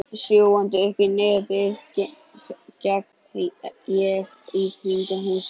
Sjúgandi uppí nefið geng ég í kringum húsið.